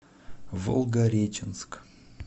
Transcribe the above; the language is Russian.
волгореченск